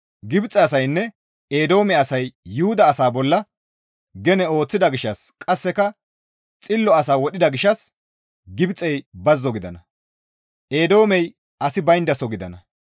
Gibxe asaynne Eedoome asay Yuhuda asaa bolla gene ooththida gishshas qasseka xillo asaa wodhida gishshas Gibxey bazzo gidana; Eedoomey asi bayndaso gidana.